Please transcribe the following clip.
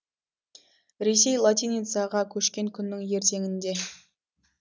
ресей латиницаға көшкен күннің ертеңінде